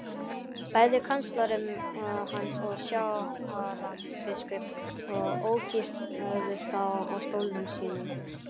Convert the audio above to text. Bæði kanslari hans og Sjálandsbiskup ókyrrðust á stólum sínum.